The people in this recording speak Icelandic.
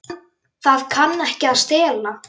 Það kann ekki að stela.